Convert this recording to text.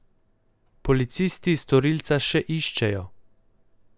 Policisti storilca še iščejo.